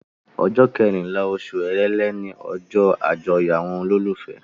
Ọjọ́ kẹrìnlá oṣù èrèlé ni ọjọ́ àjọyọ̀ àwọn olólùfẹ́.